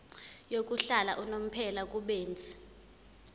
yokuhlala unomphela kubenzi